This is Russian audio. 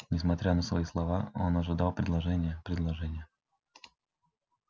несмотря на свои слова он ожидал предложения предложения